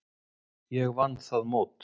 Ég vann það mót.